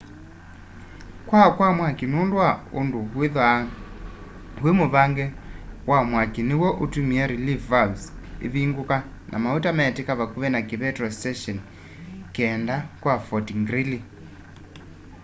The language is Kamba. kwaa kwa mwaki nundu wa undu withwaa wi muvange wa mwaki niw'o utumie relief valves ivunguka na mauta metika vakuvi na kipetro station 9 kya fort greely